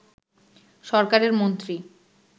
সরকারের মন্ত্রী